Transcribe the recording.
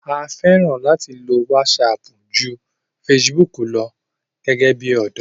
a fẹ́ràn láti lo wásapù ju fesibúkù lọ gẹ́gẹ́ bí ọ̀dọ́